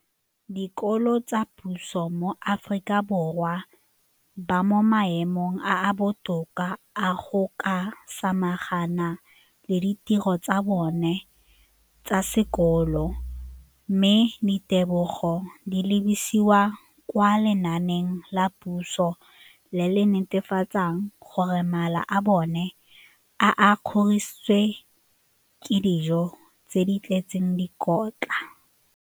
Dikolo tsa puso mo Aforika Borwa ba mo maemong a a botoka a go ka samagana le ditiro tsa bona tsa sekolo, mme ditebogo di lebisiwa kwa lenaaneng la puso le le netefatsang gore mala a bona a kgorisitswe ka dijo tse di tletseng dikotla.